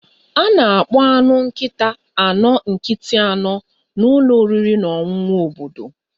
A na-akpọ anụ nkịta anọ nkịtị anọ na ụlọ oriri na ọṅụṅụ obodo